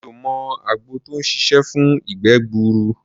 Mi ò mọ àgbo tó ń ṣiṣé fún ìgbẹ́ gbuuru.